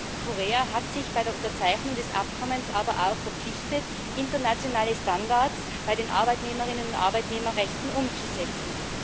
Südkorea hat sich bei der Unterzeichnung des Abkommens aber auch verpflichtet, internationale Standards bei den Arbeitnehmerinnen und Arbeitnehmerrechten umzusetzen.